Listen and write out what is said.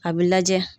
A bɛ lajɛ